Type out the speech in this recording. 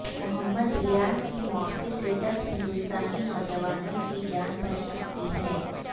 محمد ریاض کی معافی سے دس ہندوستانی نوجوانوں کی جان بچ سکتی ہے